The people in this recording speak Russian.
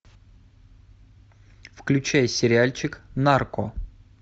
включай сериальчик нарко